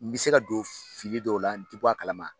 N bɛ se ka don fili dɔw la n ti bɔ a kalama